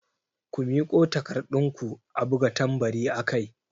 Ku miƙo takarɗun ku a buga tambari akai!